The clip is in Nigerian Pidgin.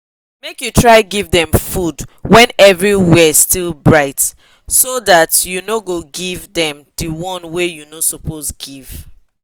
make u try give them food when everywhere still bright so that make u no go give them the one wa u no suppose give